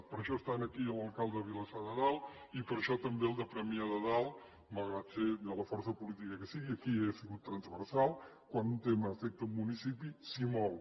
per això hi ha aquí l’alcalde de vilassar de dalt i per això també el de premià de dalt malgrat ser de la força política que sigui aquí ha sigut transversal quan un tema afecta un municipi s’hi mou